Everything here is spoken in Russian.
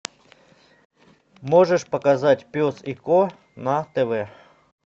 можешь показать пес и ко на тв